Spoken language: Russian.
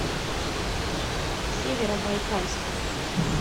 северобайкальску